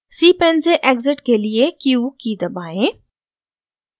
cpan से exit के लिए q की दबाएं